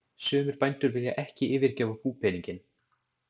Sumir bændur vilja ekki yfirgefa búpeninginn.